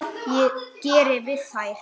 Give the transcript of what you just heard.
Hvað ég geri við þær?